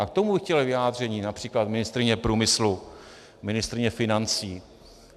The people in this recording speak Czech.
A k tomu bych chtěl vyjádření například ministryně průmyslu, ministryně financí.